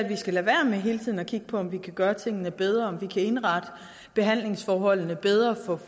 vi skal lade være med hele tiden at kigge på om vi kan gøre tingene bedre og indrette behandlingsforholdene bedre